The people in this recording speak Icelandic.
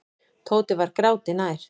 Tóti var gráti nær.